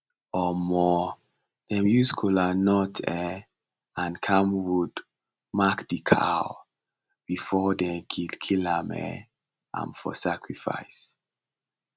um dem use kolanut um and camwood mark the cow before dem kill kill um am for sacrifice